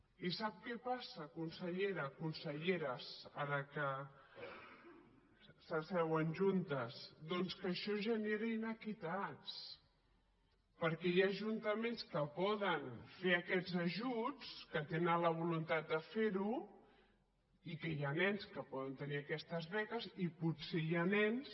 i sap què passa consellera conselleres ara que s’asseuen juntes doncs que això genera iniquitats perquè hi ha ajuntaments que poden fer aquests ajuts que tenen la voluntat de ferho i que hi ha nens que poden tenir aquestes beques i potser hi ha nens